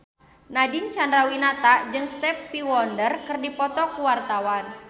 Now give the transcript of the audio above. Nadine Chandrawinata jeung Stevie Wonder keur dipoto ku wartawan